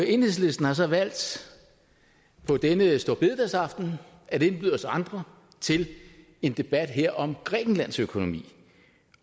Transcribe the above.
enhedslisten har så valgt på denne store bededagsaften at indbyde os andre til en debat om grækenlands økonomi